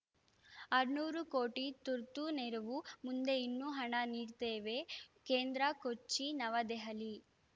ಆರುನೂರು ಕೋಟಿ ತುರ್ತು ನೆರವು ಮುಂದೆ ಇನ್ನೂ ಹಣ ನೀಡ್ತೇವೆ ಕೇಂದ್ರ ಕೊಚ್ಚಿನವದೆಹಲಿ